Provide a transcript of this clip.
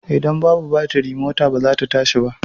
Ida babu batiri mota ba zata tashi ba